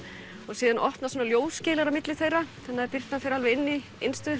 síðan opnast ljóskeila á milli þeirra þannig að birtan fer inn